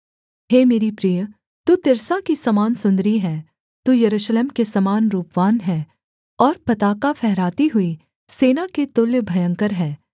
हे मेरी प्रिय तू तिर्सा की समान सुन्दरी है तू यरूशलेम के समान रूपवान है और पताका फहराती हुई सेना के तुल्य भयंकर है